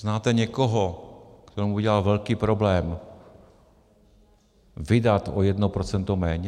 Znáte někoho, komu by dělalo velký problém vydat o jedno procento méně?